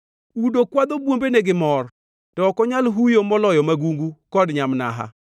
“Udo kwadho bwombene gi mor, to ok onyal huyo moloyo magungu kod nyamnaha.